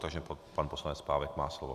Takže pan poslanec Pávek má slovo.